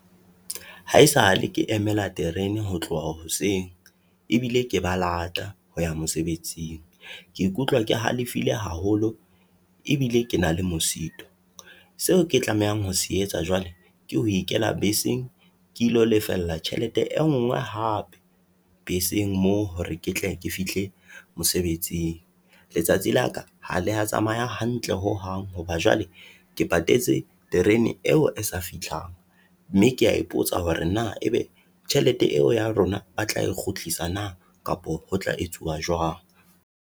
Haesale ke emela terene ho tloha hoseng ebile ke ba lata ho ya mosebetsing, ke ikutlwa ke halefile haholo ebile ke na le mosito, seo ke tlamehang ho se etsa jwale, ke ho ikela beseng ke ilo lefella tjhelete e ngwe hape beseng moo, hore ke tle ke fihle mosebetsing. Letsatsi la ka ha le ya tsamaya hantle ho hang, hoba jwale ke patetse terene eo e sa fihlang. Mme ke ya ipotsa hore na e be tjhelete eo ya rona ba tla e kgutlisa nna, kapa ho tla etsuwa jwang.